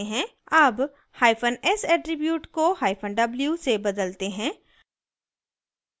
अब hyphen s attribute को hyphen w से बदलते हैं